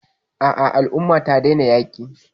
A'a, al umman ta daina yaƙi.